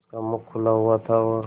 उसका मुख खुला हुआ था और